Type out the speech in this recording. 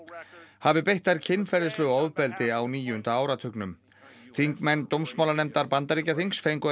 hafi beitt þær kynferðislegu ofbeldi á níunda áratugnum þingmenn Bandaríkjaþings fengu að